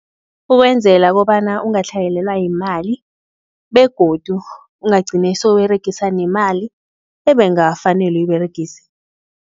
Ukwenzela kobana ungatlhayelelwa yimali begodu, ungagcini sewuberegisa nemali ebengafanele uyiberegise.